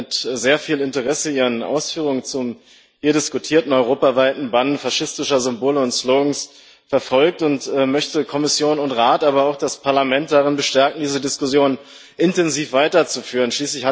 Ich habe mit sehr viel Interesse Ihre Ausführungen zum hier diskutierten europaweiten Bann faschistischer Symbole und Slogans verfolgt und möchte Kommission und Rat, aber auch das Parlament darin bestärken, diese Diskussion intensiv weiterzuführen.